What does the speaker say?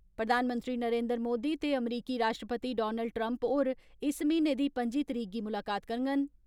प्रधानमंत्री नरेन्द्र मोदी ते अमरीकी राश्ट्रपति डोनाल्ड ट्रम्प होर इस महीने दी पं'जी तरीक गी मुलाकात करङन।